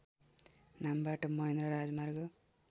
नामबाट महेन्द्र राजमार्ग